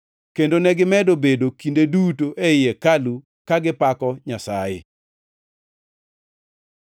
Kendo negimedo bedo kinde duto ei hekalu, kagipako Nyasaye.